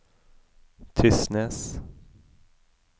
Tysnes